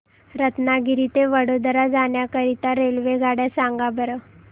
रत्नागिरी ते वडोदरा जाण्या करीता रेल्वेगाड्या सांगा बरं